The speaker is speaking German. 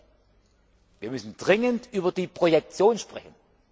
auf 24. Wir müssen dringend über die Projektion sprechen.